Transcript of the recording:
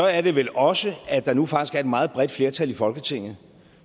er det vel også at der nu faktisk er et meget bredt flertal i folketinget